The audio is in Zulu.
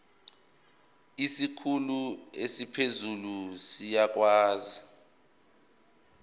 isikhulu esiphezulu siyakwazi